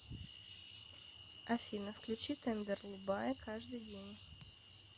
афина включи тендерлубае каждый день